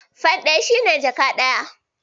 Fan ɗari shi yake jaka ɗaya.